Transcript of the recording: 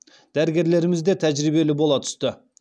дәрігерлеріміз де тәжірибелі бола түсті